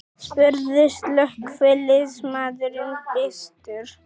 spurði slökkviliðsmaðurinn byrstur.